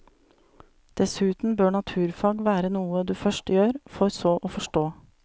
Dessuten bør naturfag være noe du først gjør, for så å forstå.